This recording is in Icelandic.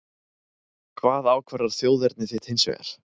Hvað ákvarðar þjóðerni þitt hins vegar?